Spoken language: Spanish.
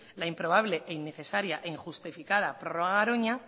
la improbable innecesaria e injustificada prorrogar a garoña